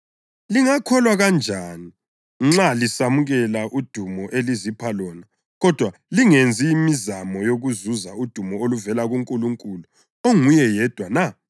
Lingakholwa kanjani nxa lisamukela udumo elizipha lona kodwa lingenzi mizamo yokuzuza udumo oluvela kuNkulunkulu onguye yedwa na?